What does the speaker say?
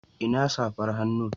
Ina safar hannu?